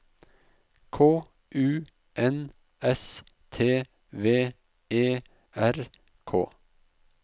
K U N S T V E R K